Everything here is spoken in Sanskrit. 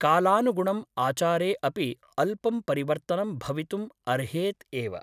कालानुगुणम् आचारे अपि अल्पं परिवर्तनं भवितुम् अर्हेत् एव ।